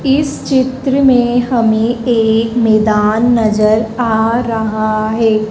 इस चित्र में हमें एक मैदान नजर आ रहा है।